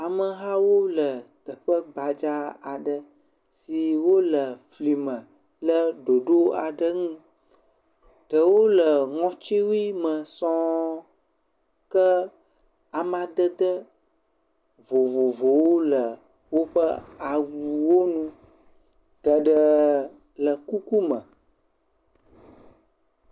Amehawo le teƒe gbadza aɖe si wole fli ma kple ɖoɖo aɖe ŋu. Ɖewo le ŋɔtiwui me sɔ̃ɔ ke amadede vovovowo le woƒe awuwo nu. Geɖe le kuku me.